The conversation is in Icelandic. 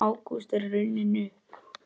Ágúst er runninn upp.